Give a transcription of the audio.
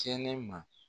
Kɛnɛma